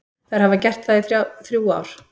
Þær hafa gert það í þrjú ár.